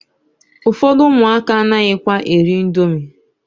Ụfọdụ ụmụaka anaghịkwa eri indomi